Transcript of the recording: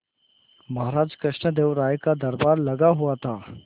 महाराज कृष्णदेव राय का दरबार लगा हुआ था